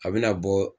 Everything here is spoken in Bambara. A bɛna bɔ